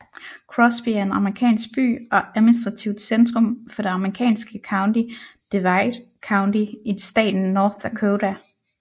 Crosby er en amerikansk by og administrativt centrum for det amerikanske county Divide County i staten North Dakota